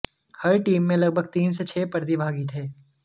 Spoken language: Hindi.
हर टीम में लगभग तीन से छह प्रतिभागी थे